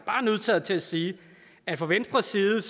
bare nødsaget til at sige fra venstres side